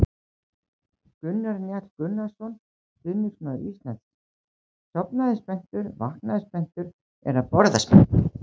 Gunnar Njáll Gunnarsson, stuðningsmaður Íslands: Sofnaði spenntur, vaknaði spenntur, er að borða spenntur!